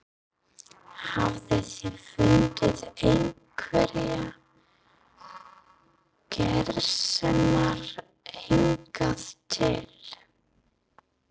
Hafið þið fundið einhverjar gersemar hingað til?